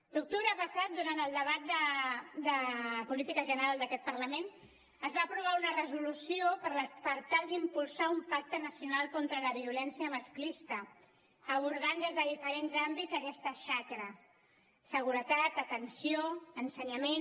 l’octubre passat durant el debat de política general d’aquest parlament es va aprovar una resolució per tal d’impulsar un pacte nacional contra la violència masclista abordant des de diferents àmbits aquesta xacra seguretat atenció ensenyament